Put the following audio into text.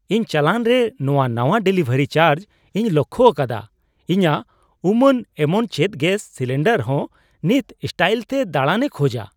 ᱤᱧ ᱪᱟᱞᱟᱱ ᱨᱮ ᱱᱚᱣᱟ ᱱᱟᱶᱟ ᱰᱮᱞᱤᱵᱷᱟᱨᱤ ᱪᱟᱨᱡᱽ ᱤᱧ ᱞᱚᱠᱽᱠᱷᱳ ᱟᱠᱟᱫᱟ ᱾ ᱤᱧᱟᱹᱜ ᱩᱢᱟᱹᱱ ᱮᱢᱚᱱ ᱪᱮᱫ ᱜᱮᱥ ᱥᱤᱞᱤᱱᱰᱟᱨ ᱦᱚᱸ ᱱᱤᱛ ᱥᱴᱟᱭᱤᱞᱛᱮ ᱫᱟᱲᱟᱱᱮ ᱠᱷᱚᱡᱟ !